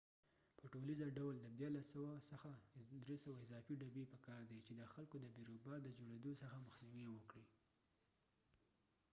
په ټولیزه ډول د 1300 څخه 300 اضافه ډبی په کار دي چې د خلکو د بیروبار د جوړیدو څخه مخنیوې وکړي